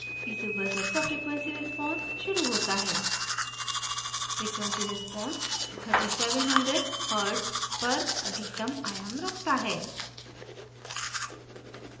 piezo buzzer का frequency response शुरू होता है frequency response 3700hz पर अधिकतम आयाम रखता है